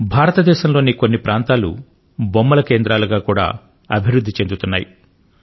భారతదేశంలోని కొన్ని ప్రాంతాలు బొమ్మల కేంద్రాలుగా కూడా అభివృద్ధి చెందుతున్నాయి